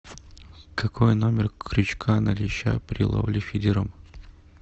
какой номер крючка на леща при ловле фидером